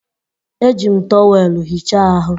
Eji m tọweelụ hichaa ahụ